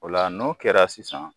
O la n'o kɛra sisan